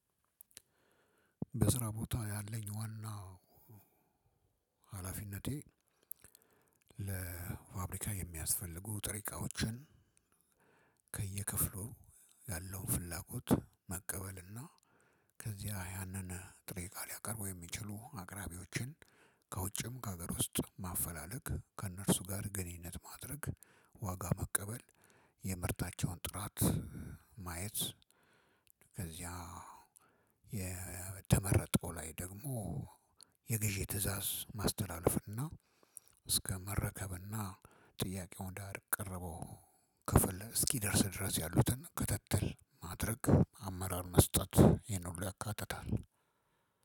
በስራ ቦታ ያለኝ ዋናው ሀላፊነቴ ለፋብሪካ የሚያስፈልጉ ጥሬ እቃዎችን ከየክፍሉ ያለውን ፍላጎት መቀበል እና ከዚያ ያንን ጥሬ እቃ ሊያቀርቡ የሚችሉ አቅራቢዎችን ከውጭም ከሀገር ውስጥ ማፈላለግ ከእነርሱ ጋር ግንኙነት ማድረግ ዋጋ መቀበል የምርታቸውን ጥራት ማየት ከዚያ የተመረጠው ላይ ደግሞ የገዢ ትእዛዝ ማስተላለፍና እስከ መረከብና ጥያቄውን ወደ አቀረበው ክፍል እስኪደርስ ድረስ ያሉትን ክተትል ማድረግ አመራር መስጠት ይሄን ሁሉ ያካትታል።